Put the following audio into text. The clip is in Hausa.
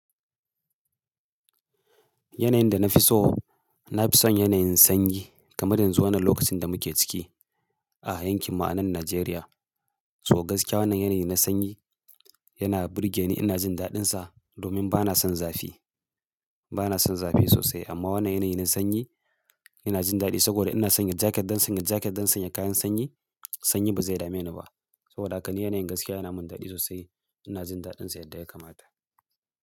Yanayin da na fi so, na fi son yanayin sanyi kamar yanzu wannan lokacin da muke ciki a yankin mu anannajeriya. So gaskiya wannan yanayi na sanyi yana burge ni. Ina jin daɗinsa domin ba na son zafi. Ba na son zafi sosai amma wannan yanayi na sanyi ina jin daɗi saboda ina sanya jaket don sanya jaket, don sanya kayan sanyi. Sanyi ba zai dame ni ba. Soboda haka ni yanayin gaskiya yana min daɗi sosai. Ina jin daɗinsa yadda ya kamata.